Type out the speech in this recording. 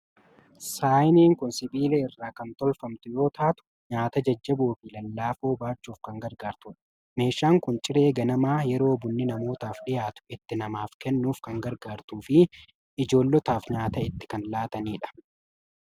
Saayiniin kun sibiila irraa kan tolfamtu yoo taatu, nyaata jajjaboo fi lallaafoo baachuuf kan gargaartudha. Meeshaan kun ciree ganamaa yeroo bunni namootaaf dhiyaatu itti namaaf kennuuf kan gargaartuu fi ijoollotaaf nyaata itti kan laatanidha.